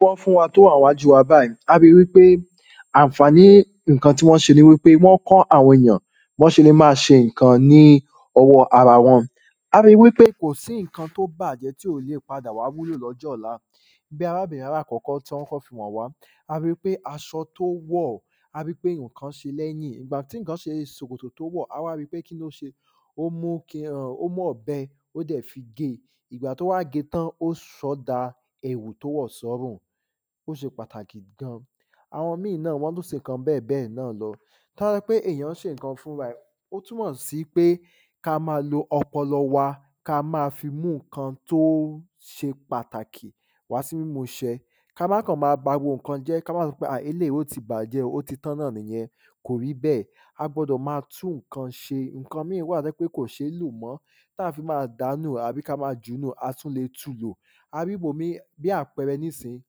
bọ́ ń fúnwa tó wà níwájú wa báyìí, ari wípé ànfàní ǹkan tí wọ́n ṣe ni wípé wọ́n kọ́ àwọn ènìyàn bọ́ ṣe le máa ṣe ǹkan, ní ọwọ́ ara wọn ari wípé kò sí ǹkan tó bàjẹ́ tí ò lè padà wá wúlò lọ́jọ́ ọ̀la bí arábìnrin aláàkọ́kọ́ tí wọ́n kọ́kọ́ fi wọ̀n wá ari pé aṣọ tí ó wọ̀ ari pé ǹkan si lẹ́yìn ìgbà tí ǹkan ṣe ṣòkòtò tó wọ̀, awá ri pé kílóṣe ó mú ẹm ó mú ọ̀bẹ ó dẹ̀ fi ge ìgbà tó wá ge tán ó sọ́ da ẹ̀wù tó wọ̀ sọ́rùn ó ṣe pàtàkì gan àwọn mi náà wọ́n tún ṣe ǹkan bẹ́ẹ̀bẹ́ẹ̀ náà lọ tọ́bá pé èyàn ṣe ǹkan fúnra ẹ̀ ó tún mọ̀ sí wípé ká ma lo ọpọlọ wa ka ma fi mú ǹkan tó ṣe pàtàkì wá sí ìmúṣẹ ká má kàn ma ba gbogbo ǹkan jẹ́, ká má sọpé à eléèyí ó ti bàjẹ́ o ó tán náà nìyẹn kò rí bẹ́ẹ̀, a gbọ́dọ̀ ma tú ǹkan ṣe ǹkan míì wà tó jẹ́ pé kò ṣe é lò mọ́, táa fi máa dàánù àbí ká ma jùúnù, a tún le tulò ari bò mí bí àpẹẹrẹ nísìnyí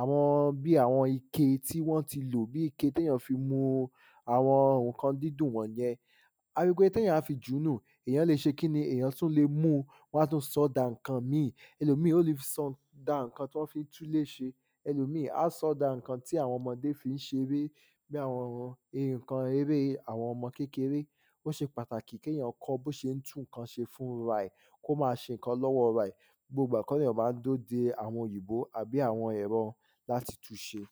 àwọn bí àwọn ike tí wọ́n ti lò, bí ike téyàn fi mu àwọn ǹkan dídùn wọ̀nyẹn ari pé téyàn á fi jùúnù, èyàn le ṣe kíni, èyàn le mú-un ká tún ṣọ́ da ǹkan míì ẹlòmí ó le sọ da ǹkan tí wọ́n fi ń túlé ṣe ẹlòmíì á sọ́ da ǹkan tí àwọn ọmọdé fi ń ṣeré bí àwọn ǹkan eré àwọn ọmọ kékeré, ó ṣe pàtàkì kéèyàn kọ́ bó ṣe ń tún ǹkan ṣe fúnra ẹ̀ kó ma ṣe ǹkan lọ́wọ́ ra ẹ̀ gbogbo ìgbà kó lèyàn ma ń dúró de àwọn òyìnbó, àbí àwọn ẹ̀rọ láti tun ṣe